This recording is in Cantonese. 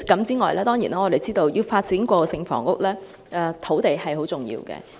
此外，我們知道要發展過渡性房屋，土地資源相當重要。